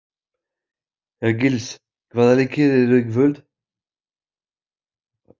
Hergils, hvaða leikir eru í kvöld?